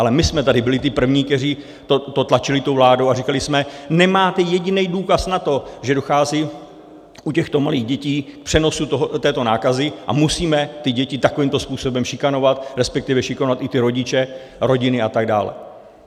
Ale my jsme tady byli ti první, kteří to tlačili tou vládou, a říkali jsme: Nemáte jediný důkaz na to, že dochází u těchto malých dětí k přenosu této nákazy, a musíme ty děti takovýmto způsobem šikanovat, respektive šikanovat i ty rodiče, rodiny a tak dále?